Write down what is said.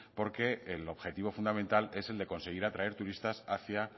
porque el objetivo fundamental es el de conseguir atraer turistas hacia